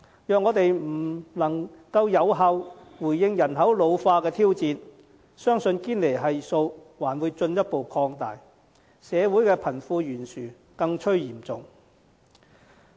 如我們不能有效回應人口老化的挑戰，相信堅尼系數還會進一步擴大，社會的貧富懸殊將更趨嚴重。